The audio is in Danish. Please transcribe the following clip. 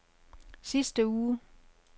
sidste uge